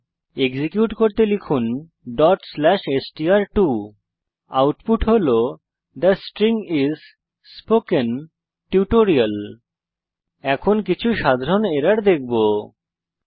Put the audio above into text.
execute করতে লিখুন dot slash S T R two output হল the string is spoken tutorial এখন আমরা কিছু সাধারণ এরর দেখব যা আমরা পেতে পারি